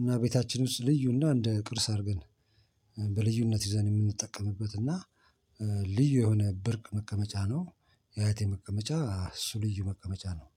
እና ቤታችን ውስጥ ልዩና እንደ ቅርስ አድርገን በልዩነት ይዘን የምንጠቀምበት እና ልዩ የሆነ ብርቅ መቀመጫ ነው። የአያቴ መቀመጫ ልዩ መቀመጫ ነው።